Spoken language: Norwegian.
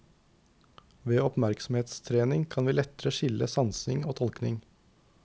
Ved oppmerksomhetstrening kan vi lettere skille sansing og tolkning.